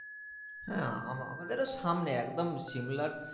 হ্যাঁ আমাদেরও সামনে একদম সিমলার